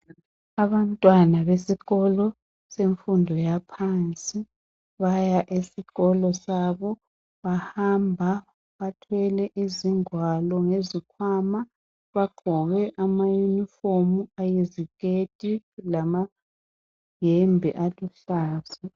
Abantwana besikolo semfundo yaphansi baya esikolo sabo bahamba bathwele izingwalo lezikhwama bagqoke amayunifomi ayiziketi alamayembe aluhlaza.